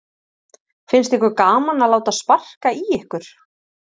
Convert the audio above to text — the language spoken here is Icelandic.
Finnst ykkur gaman að láta sparka í ykkur?